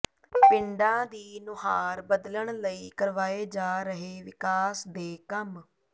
ਪਿੰਡਾਂ ਦੀ ਨੁਹਾਰ ਬਦਲਣ ਲਈ ਕਰਵਾਏ ਜਾ ਰਹੇ ਵਿਕਾਸ ਦੇ ਕੰਮ